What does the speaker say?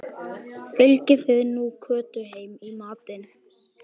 Fylgið þið nú Kötu heim í matinn